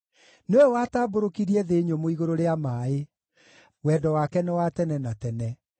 nĩwe watambũrũkirie thĩ nyũmũ igũrũ rĩa maaĩ, Wendo wake nĩ wa tene na tene.